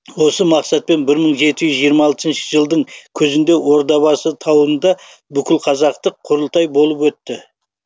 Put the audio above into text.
осы мақсатпен бір мың жеті жүз жиырма алтыншы жылдың күзінде ордабасы тауында бүкілқазақтық құрылтай болып өтті